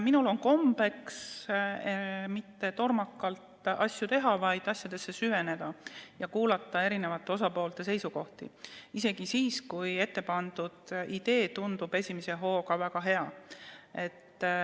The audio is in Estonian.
Minul ei ole kombeks asju tormakalt teha, vaid asjadesse süveneda ja kuulata eri osapoolte seisukohti isegi siis, kui ettepandud idee tundub esimese hooga väga hea.